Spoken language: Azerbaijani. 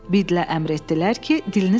Biddlə əmr etdilər ki, dilini saxla.